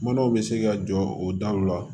Manaw bɛ se ka jɔ o daw la